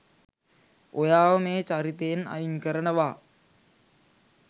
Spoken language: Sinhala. ඔයාව මේ චරිතයෙන් අයින් කරනවා